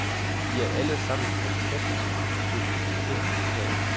De er alle sammen fantastisk sofistikerede.